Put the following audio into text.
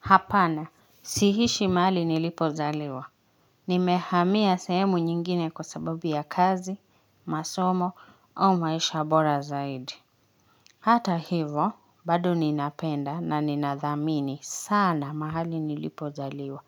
Hapana siishi mahali nilipozaliwa nimehamia sehemu nyingine kwa sababu ya kazi masomo au maisha bora zaidi hata hivyo bado ninapenda na ninathamini sana mahali nilipozaliwa